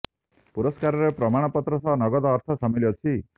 ପୁରସ୍କାରରେ ପ୍ରମାଣ ପତ୍ର ସହ ନଗଦ ଅର୍ଥ ସାମିଲ ଅଛି